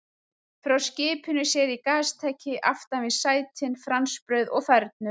Frá skipinu sér í gastæki aftan við sætin, franskbrauð og fernur.